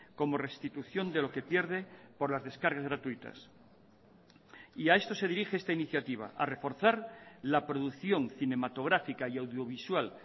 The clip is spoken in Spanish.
como restitución de lo que pierde por las descargas gratuitas y a esto se dirige esta iniciativa a reforzar la producción cinematográfica y audiovisual